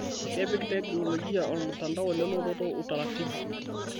Kepik teknolojia olmtandao le lototo utaratibu